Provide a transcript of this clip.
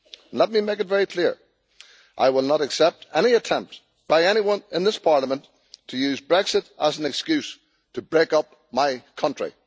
Let me make it very clear I will not accept any attempt by anyone in this Parliament to use Brexit as an excuse to break up my country.